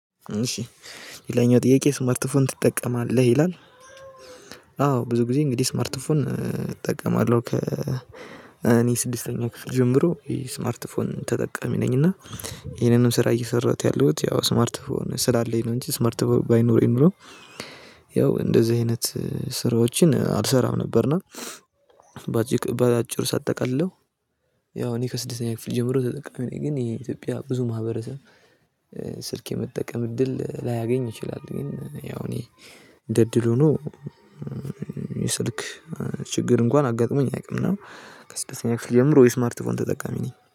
እሺ ሌላኛው ጥያቄ ስማርት ፎን ትጠቀማለህ ይላል? አዎ ብዙ ጊዜ እንግዲህ ስማርት ፎን እጠቀማለሁ ከ እኔ ስድስተኛው ክፍል ጀምሮ የስማርት ፎን ተጠቀሚ ነኝና። ይሄንንም ስራ እየሰራሁት ያሉት ያው ስማርት ስላለኝ ነው እንጂ ስማርት ፎን ባይኖረኝ ኖሮ ያው እንደዚህ አይነት ስራዎችን አልሰራም ነበርና። በአጭር ሳጠቃልለው ያው እኔ ከስድስተኛ ክፍል ጀምሮ ተጠቃሚ ነኝ። ግን የኢትዮጵያ ብዙ ማህበረሰብ ስልክ የመጠቀም እድል ላያገኝ ይችላል። ግን ያው እኔ እንደ እድል ሆኖ የስልክ ችግር እንኳን አጋጥሞኝ አያውቅም። እና ከስድስተኛ ክፍል ጀምሮ የስማርት ፎን ተጠቃሚ ነኝ